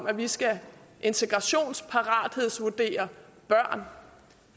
at vi skal integrationsparathedsvurdere børn